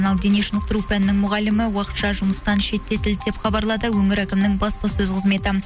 ал дене шынықтыру пәнінің мұғалімі уақытша жұмыстан шеттетілді деп хабарлады өңір әкімінің баспасөз қызметі